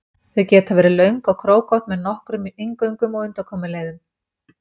Þau geta verið löng og krókótt með með nokkrum inngöngum og undankomuleiðum.